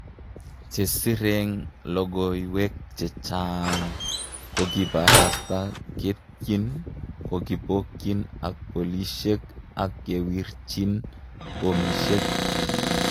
Chesireng logowek chengchaang kokakiparasta ketiyn kokipoyin ak polishek ak kewirchin bomishek